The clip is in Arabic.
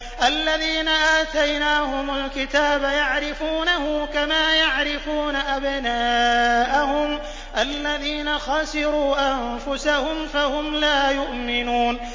الَّذِينَ آتَيْنَاهُمُ الْكِتَابَ يَعْرِفُونَهُ كَمَا يَعْرِفُونَ أَبْنَاءَهُمُ ۘ الَّذِينَ خَسِرُوا أَنفُسَهُمْ فَهُمْ لَا يُؤْمِنُونَ